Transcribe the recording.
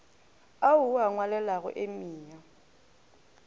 ao o a ngwalelago emia